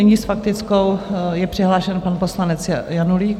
Nyní s faktickou je přihlášen pan poslanec Janulík.